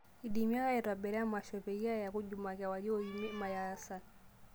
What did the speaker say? indim ake aitobira emasho peyei eeku jumaa kewarie o emi ,maya o hassan